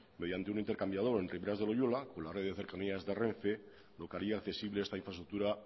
mediante un intercambiador en riberas de loiola con la red de cercanías de renfe lo que haría accesible a esta infraestructura